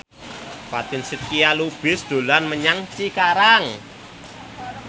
Fatin Shidqia Lubis dolan menyang Cikarang